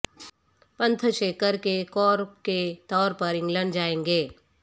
پنت شیکھر کے کور کے طور پر انگلینڈ جائیں گے